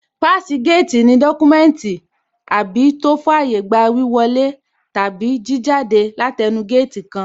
Páàsì géètì ní dọ́kúmẹ́ùntì àbí tó fàyé gba wíwọ lé tàbí kí jáde látẹẹnu géètì kan